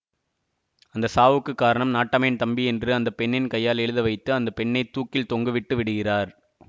அந்த சாவுக்கு காரணம் நாட்டாமையின் தம்பி என்று அந்த பெண்ணின் கையால் எழுத வைத்து அந்த பெண்ணை தூக்கில் தொங்க விட்டு விடுகிறார்